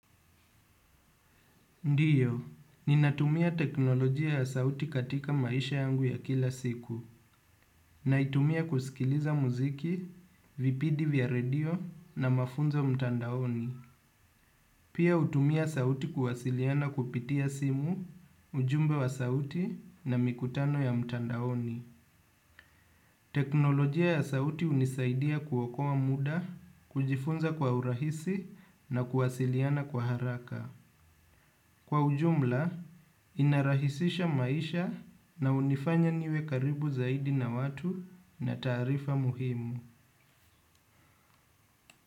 Ndiyo, ninatumia teknolojia ya sauti katika maisha yangu ya kila siku. Naitumia kusikiliza muziki, vipidi vya radio na mafunza mtandaoni. Pia utumia sauti kuwasiliana kupitia simu, ujumbe wa sauti na mikutano ya mtandaoni. Teknolojia ya sauti unisaidia kuokowa muda, kujifunza kwa urahisi na kuwasiliana kwa haraka. Kwa ujumla, inarahisisha maisha na unifanya niwe karibu zaidi na watu na taarifa muhimu.